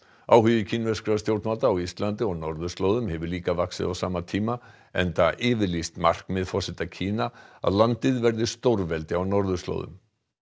áhugi kínverskra stjórnvalda á Íslandi og norðurslóðum hefur líka vaxið á sama tíma enda yfirlýst markmið forseta Kína að landið verði stórveldi á norðurslóðum